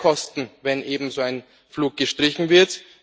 die Mehrkosten, wenn eben so ein Flug gestrichen wird?